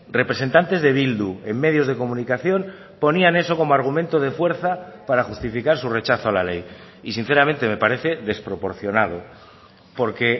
representantes de bildu en medios de comunicación ponían eso como argumento de fuerza para justificar su rechazo a la ley y sinceramente me parece desproporcionado porque